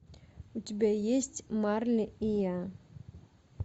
у тебя есть марли и я